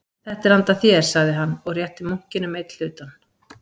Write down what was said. Þetta er handa þér, sagði hann, og rétti munkinum einn hlutann.